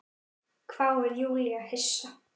hváir Júlía hissa.